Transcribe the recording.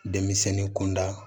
Denmisɛnnin kunda